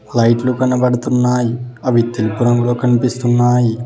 లైట్లు కనబడుతున్నాయి అవి తెలుపు రంగులో కనిపిస్తున్నాయి.